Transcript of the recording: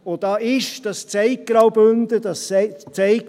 Und da ist eben der Mountainbike-Sport etwas sehr Wichtiges;